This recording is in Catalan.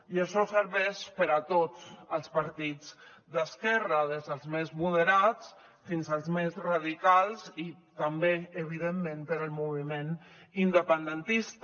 i això serveix per a tots els partits d’esquerra des dels més moderats fins als més radicals i també evidentment per al moviment independentista